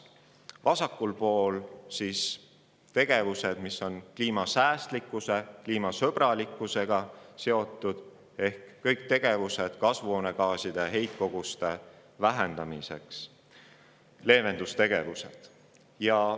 Vasakul pool on tegevused, mis on seotud kliimasäästlikkuse ja -sõbralikkusega: ehk kõik leevendustegevused, mis vähendada kasvuhoonegaaside heitkoguseid.